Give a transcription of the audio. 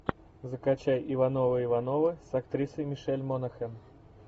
закачай ивановы ивановы с актрисой мишель монахэн